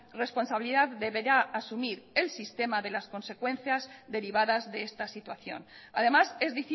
responsabilidad deberá asumir el sistema de las consecuencias derivadas de esta situación además es